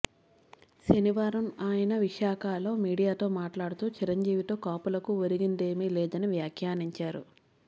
శనివారం ఆయన విశాఖలో మీడియాతో మాట్లాడుతూ చిరంజీవితో కాపులకు ఒరిగిందేమీ లేదని వ్యాఖ్యానించారు